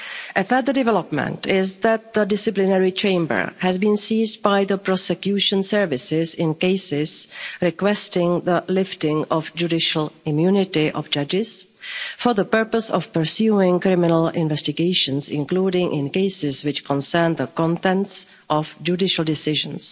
A further development is that the Disciplinary Chamber has been seized by the prosecution services in cases requesting the lifting of the judicial immunity of judges for the purpose of pursuing criminal investigations, including in cases which concern the contents of judicial decisions.